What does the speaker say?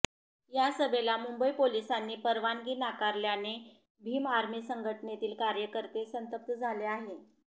या सभेला मुंबई पोलिसांनी परवानगी नाकारल्याने भीम आर्मी संघटनेतील कार्यकर्ते संतप्त झाले आहे